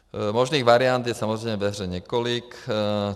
Možných variant je samozřejmě ve hře několik.